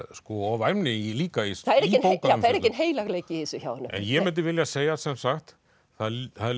og væmni líka í bókunum það er enginn heilagleiki í þessu hjá honum ég mundi vilja segja sem sagt það